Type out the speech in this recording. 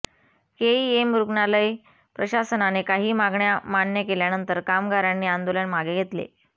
KEM रुग्णालय प्रशासनाने काही मागण्या मान्य केल्यानंतर कामगारांनी आंदोलन मागे घेतले